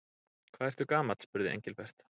Hvað ertu gamall? spurði Engilbert.